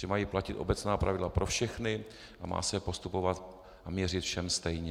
Že mají platit obecná pravidla pro všechny a má se postupovat a měřit všem stejně.